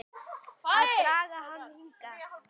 Að draga hann hingað.